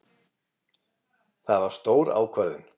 Það var stór ákvörðun.